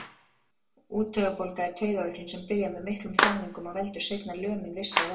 Úttaugabólga er taugaveiklun sem byrjar með miklum þjáningum og veldur seinna lömun vissra vöðva.